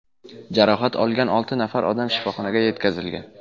Jarohat olgan olti nafar odam shifoxonaga yetkazilgan.